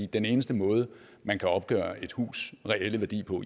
den eneste måde man kan opgøre et hus reelle værdi på